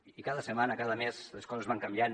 i cada setmana cada mes les coses van canviant